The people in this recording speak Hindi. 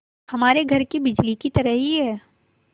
हमारे घर की बिजली की तरह ही है